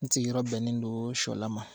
N sigiyɔrɔ bɛnnen don sɔla ma